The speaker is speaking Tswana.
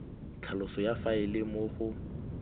tlhaloso ya faele moo go